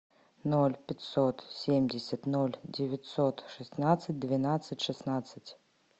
ноль пятьсот семьдесят ноль девятьсот шестнадцать двенадцать шестнадцать